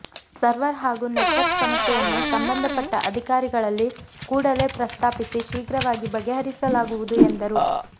server ಹಾಗೂ network ಸಮಸ್ಯೆಯನ್ನು ಸಂಬಂಧಪಟ್ಟ ಅಧಿಕಾರಿಗಳಲ್ಲಿ ಕೂಡಲೇ ಪ್ರಸ್ತಾಪಿಸಿ ಶೀಘ್ರವಾಗಿ ಬಗೆಹರಿಸಲಾಗುವುದು ಎಂದರು